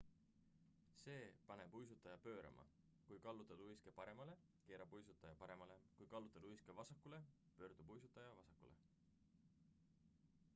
see paneb uisutaja pöörama kui kallutada uiske paremale keerab uisutaja paremale kui kallutada uiske vasakule pöördub uisutaja vasakule